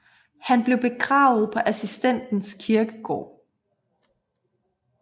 Han blev begravet på Assistens Kirkegård